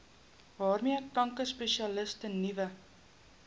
waarmee kankerspesialiste nuwe